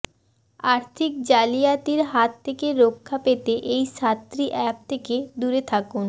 আর্থিক জালিয়াতির হাত থেকে রক্ষা পেতে এই সাতটি অ্যাপ থেকে দূরে থাকুন